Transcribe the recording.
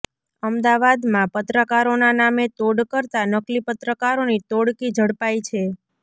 અમદાવાદમાં પત્રકારોના નામે તોડ કરતા નકલી પત્રકારોની ટોળકી ઝડપાઈ છે